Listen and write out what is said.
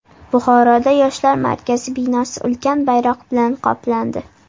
Buxoroda Yoshlar markazi binosi ulkan bayroq bilan qoplandi .